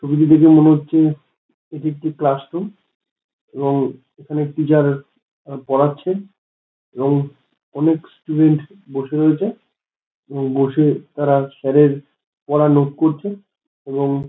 ছবিটি দেখে মনে হচ্ছে এটি একটি ক্লাসরুম। এবং এখানে টিচার পড়াচ্ছেন এবং অনেক স্টুডেন্ট বসে রয়েছে এবং বসে তারা স্যার - এর পড়া নোট করছে। এবং--